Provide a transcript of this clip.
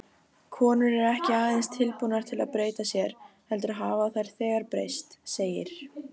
Konur eru ekki aðeins tilbúnar til að breyta sér, heldur hafa þær þegar breyst, segir